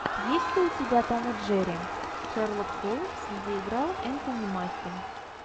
есть ли у тебя том и джерри шерлок холмс где играл энтони маки